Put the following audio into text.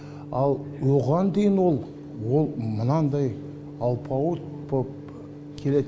ал оған дейін ол ол мынандай алпауыт боп келеді